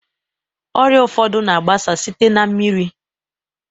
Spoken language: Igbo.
Ọrịa ụfọdụ na-agbasa site na mmiri.